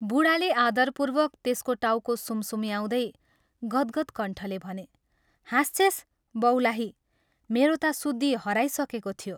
बूढाले आदरपूर्वक त्यसको टाउको सुमसुम्याउँदै गद्गद् कण्ठले भने " हाँस्छेस्, बौलाही मेरो ता सुद्धी हराइसकेको थियो।